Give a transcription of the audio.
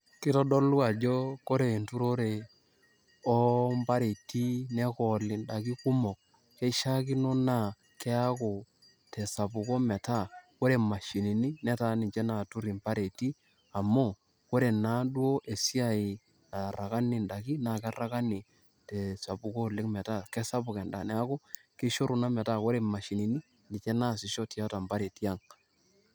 kitodolu ajo ore entorore oompariti nekooli indaiki kumok , keishiaakino naji naa keaku te sapuko metaa ore imashini netaa ninche natur impariti .amu ore naa duo esiai nakakanyi indaiki ,naa kekakanyi te espuko oleng.